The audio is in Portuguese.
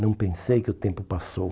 Não pensei que o tempo passou.